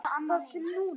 Þar til núna.